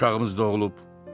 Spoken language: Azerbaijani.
Uşağımız doğulub,